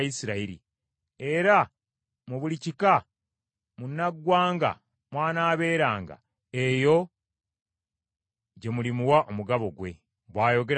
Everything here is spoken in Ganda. Era mu buli kika munnaggwanga mw’anaabeeranga, eyo gye mulimuwa omugabo gwe,” bw’ayogera Mukama Katonda.